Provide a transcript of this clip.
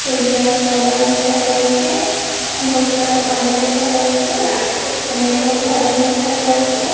ସୂର୍ଯ୍ୟ ଅସ୍ତ ହେବାର ଦେଖାଯାଉଛି ବର୍ଷା ର ପାଣି ଦେଖାଯାଉଛି ଅନେକ ଘର ଦେଖାଯାଉଛି।